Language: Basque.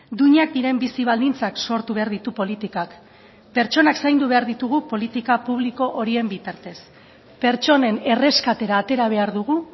duinak diren bizi baldintzak sortu behar ditu politikak pertsonak zaindu behar ditugu politika publiko horien bitartez pertsonen erreskatera atera behar dugu